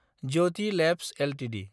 Jyoti Labs Ltd